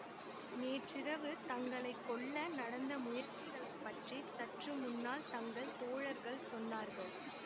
நேற்றிரவு தங்களை கொல்ல நடந்த முயற்சிகளை பற்றி சற்று முன்னால் தங்கள் தோழர்கள் சொன்னார்கள்